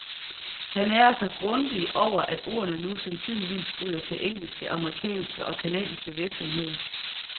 Han ærgrer sig grundigt over, at ordrene nu sandsynligvis ryger til engelske, amerikanske og canadiske virksomheder.